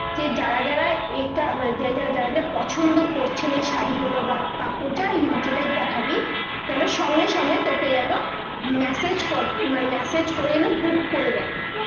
যে যারা যারা এটা, মানে যারা যারা পছন্দ করছেন এ শাড়িগুলো বা কাপড় যাই যেটাই দেখাবি যেন সঙ্গে সঙ্গে তোকে যেন message কর মানে message করে book করে নেয়।